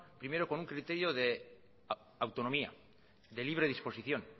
primero con un criterio de autonomía de libre disposición